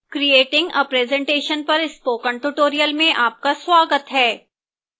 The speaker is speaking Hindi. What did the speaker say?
creating a presentation पर spoken tutorial में आपका स्वागत है